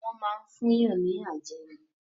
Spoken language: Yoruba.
Wọ́n máa ń fún yàn ní àjẹ́ ni.